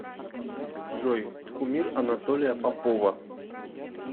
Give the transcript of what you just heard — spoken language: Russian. джой кумир анатолия попова